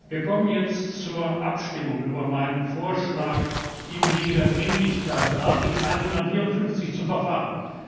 Wir kommen jetzt zur Abstimmung über meinen Vorschlag, im Wege der Dringlichkeit nach Artikel 154 zu verfahren.